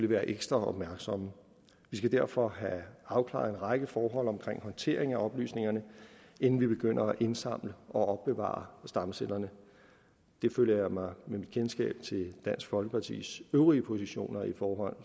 være ekstra opmærksomme vi skal derfor have afklaret en række forhold omkring håndteringen af oplysningerne inden vi begynder at indsamle og opbevare stamcellerne det føler jeg mig med mit kendskab til dansk folkepartis øvrige positioner i forhold